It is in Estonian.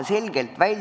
Kolm minutit juurde.